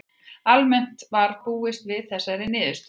Almennt var búist við þessari niðurstöðu